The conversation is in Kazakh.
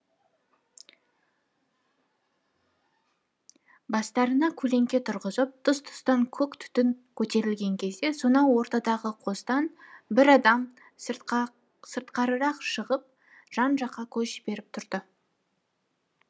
бастарына көлеңке тұрғызып тұс тұстан көк түтін көтерілген кезде сонау ортадағы қостан бір адам сыртқарырақ шығып жан жаққа көз жіберіп тұрды